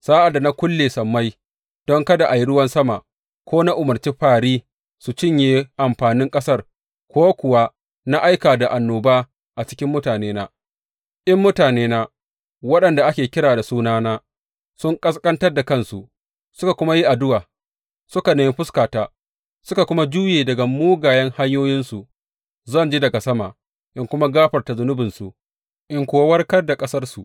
Sa’ad da na kulle sammai don kada a yi ruwan sama ko na umarci fāri su cinye amfanin ƙasar ko kuwa na aika da annoba a cikin mutanena, in mutanena, waɗanda ake kira da sunana, sun ƙasƙantar da kansu, suka kuma yi addu’a, suka nemi fuskata, suka kuma juye daga mugayen hanyoyinsu, zan ji daga sama in kuma gafarta zunubinsu in kuwa warkar da ƙasarsu.